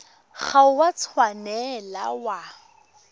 ga o a tshwanela wa